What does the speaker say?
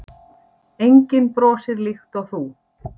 Enginn brosir líkt og þú.